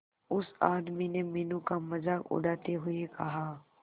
उस आदमी ने मीनू का मजाक उड़ाते हुए कहा